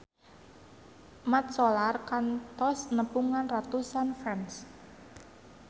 Mat Solar kantos nepungan ratusan fans